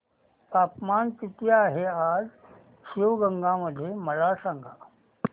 तापमान किती आहे आज शिवगंगा मध्ये मला सांगा